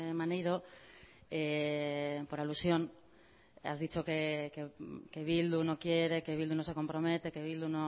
maneiro por alusión has dicho que bildu no quiere que bildu no se compromete que bildu